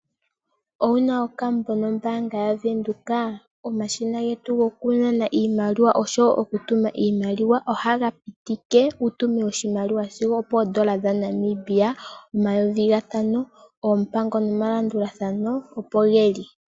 Owuna okambo nombaanga yavenduka? Omashina getu gokunana iimaliwa, oshowo gokutuma oshimaliwa, ohaga pitike wutume oshimaliwa sigo opoondola omayovi gatano yaNamibia. Oompango nomalandulathamo opo dhili.